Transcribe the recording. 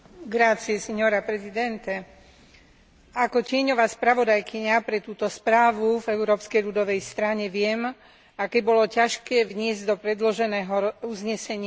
Ako tieňová spravodajkyňa pre túto správu v Európskej ľudovej strane viem, aké bolo ťažké vniesť do predloženého uznesenia vnímanie rozvojovej pomoci ako celku.